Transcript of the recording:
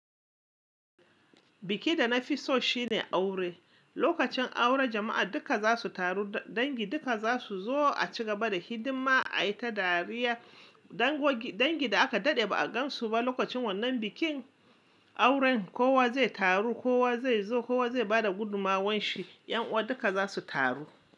Biki da na fi so shine aure. Lokacin aure jama'a duka za su taru, dangi duka za su zo a cigaba da hidima, a yi ta dariya. Dangin da aka daɗe ba a gan su ba lokacin wannan bikin auren kowa zai taru, kowa zai zo, kowa zai ba da gudunmawanshi. 'Yan uwa duka za su taru.